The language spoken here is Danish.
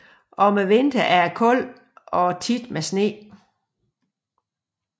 Om vinteren er det koldt og ofte med sne